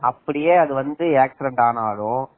: அப்படியே அது வந்து ஆக்சிடென்ட் ஆனாலும்